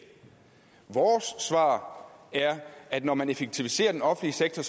vores svar er at når man effektiviserer den offentlige sektor